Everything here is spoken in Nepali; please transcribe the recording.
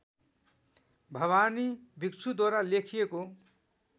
भवानी भिक्षुद्वारा लेखिएको